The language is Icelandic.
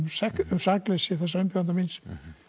sakleysi umbjóðanda míns